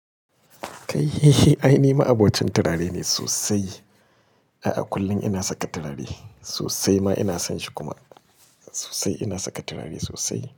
Kai, ai ni ma'abocin turare ne sosai. A'a, kullum ina saka turare. Sosai ma ina son shi kuma. Sosai ina saka turare sosai.